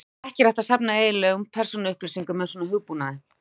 Ekki er hægt að safna eiginlegum persónuupplýsingum með svona hugbúnaði.